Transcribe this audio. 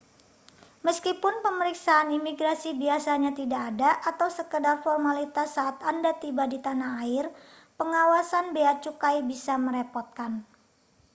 meskipun pemeriksaan imigrasi biasanya tidak ada atau sekadar formalitas saat anda tiba di tanah air pengawasan bea cukai bisa merepotkan